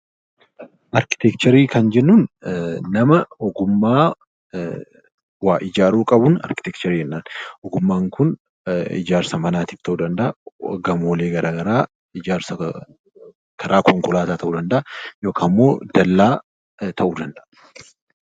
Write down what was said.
Arkiteekcharii kan jennuun nama ogummaa waa ijaaruu qabuun arkiteekcharii jennaan. Ogummaan kun ijaarsa manatif ta'uu danda'aa, gamoolee garaa garaa ijaarsa karaa konkolaataa ta'uu danda'a, yookaammoo dallaa ta'uu danda'a.